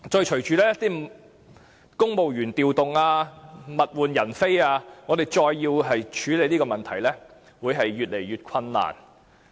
隨着公務員調動，物換人非，我們再要處理這個問題會越來越困難。